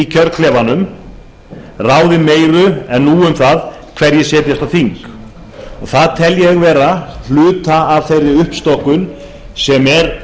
kjörklefanum ráðið meiru en nú er um það hverjir setjast á þing ég tel það vera hluta af þeirri uppstokkun sem eðlileg er